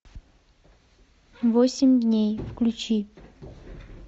восемь дней включи